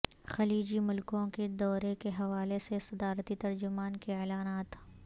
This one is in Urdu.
خلیجی ملکوں کے دورے کے حوالے سے صدارتی ترجمان کے اعلانات